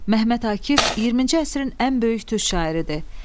Məhəmməd Akif 20-ci əsrin ən böyük türk şairidir.